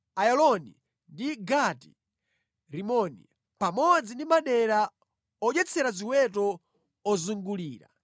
Ayaloni ndi Gati-Rimoni, pamodzi ndi madera odyetsera ziweto ozungulira.